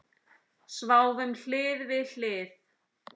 Sváfum hlið við hlið.